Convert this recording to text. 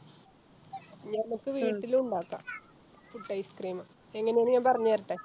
നമുക്ക് വീട്ടിലു ഇണ്ടാക്കാം പുട്ട് Ice cream എങ്ങനെയാണ് ഞാൻ പറഞ്ഞേരട്ടെ